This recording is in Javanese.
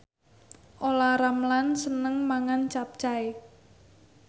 Olla Ramlan seneng mangan capcay